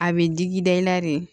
A bɛ digi da i la de